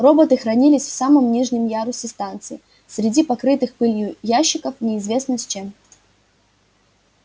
роботы хранились в самом нижнем ярусе станции среди покрытых пылью ящиков неизвестно с чем